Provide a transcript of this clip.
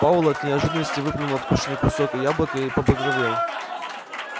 пауэлл от неожиданности выплюнул откушенный кусок яблока и побагровел